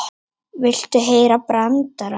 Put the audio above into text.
Viltu heyra brandara?